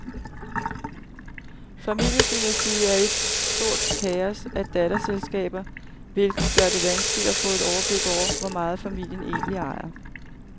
Familiedynastiet er et stort kaos af datterselskaber, hvilket gør det vanskeligt at få et overblik over, hvor meget familien egentlig ejer.